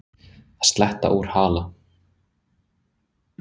Að sletta úr hala